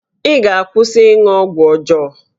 Ị ga-akwụsị ịṅụ ọgwụ ọjọọ!